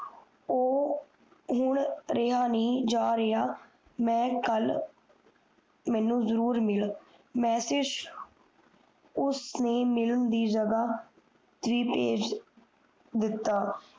ਉਹ ਹੁਣ ਰਿਹਾ ਨਹੀਂ ਜਾ ਰਿਹਾ ਮੈਂ ਕਲ ਜਰੂਰ ਮਿਲ ਮੈਸਜ ਉਸ ਨੇ ਮਿਲਣ ਦੀ ਜਗਹ ਹੀ ਪੇਜ ਦਿਤਾ